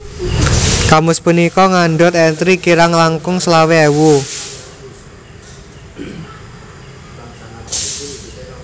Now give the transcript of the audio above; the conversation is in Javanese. Kamus punika ngandhut entri kirang langkung selawe ewu